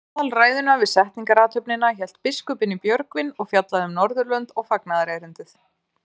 Aðalræðuna við setningarathöfnina hélt biskupinn í Björgvin og fjallaði um Norðurlönd og fagnaðarerindið.